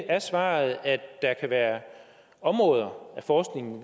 er svaret at der kan være områder af forskningen